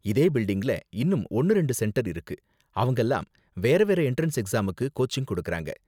இதே பில்டிங்ல இன்னும் ஒன்னு ரெண்டு சென்டர் இருக்கு, அவங்கலாம் வேற வேற எண்ட்ரன்ஸ் எக்ஸாமுக்கு கோச்சிங் கொடுக்கறாங்க.